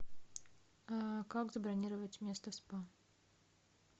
как забронировать место в спа